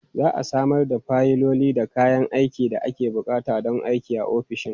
Za a samar da fayiloli da kayan aikin da ake buƙata don aikin a ofishin.